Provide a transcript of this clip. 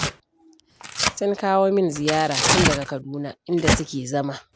Sun kawo min ziyara tun daga Kaduna inda suke da zama